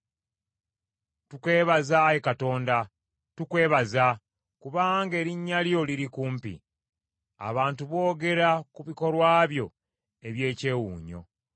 Tukwebaza, Ayi Katonda. Tukwebaza, kubanga Erinnya lyo liri kumpi. Abantu boogera ku bikolwa byo eby’ekyewuunyo.